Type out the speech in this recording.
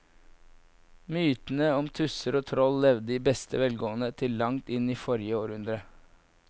Mytene om tusser og troll levde i beste velgående til langt inn i forrige århundre.